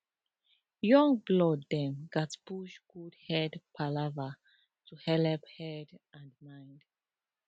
young blood dem gatz push good head palava to helep head and mind